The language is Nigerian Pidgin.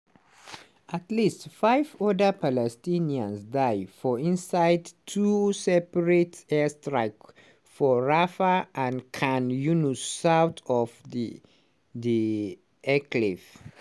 at least five oda palestinians die for inside two separate airstrikes for rafah and khan younis south of di enclave.